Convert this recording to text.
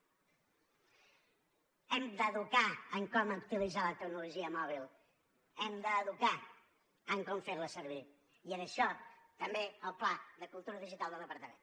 hem d’educar en com utilitzar la tecnologia mòbil hem d’educar en com fer la servir i en això també el pla de cultura digital del departament